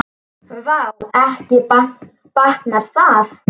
Vá, ekki batnar það!